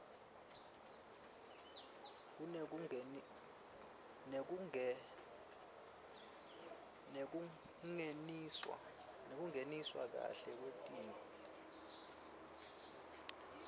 nekungentiwa kahle wetintfo